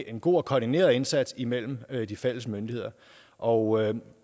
en god og koordineret indsats imellem de fælles myndigheder og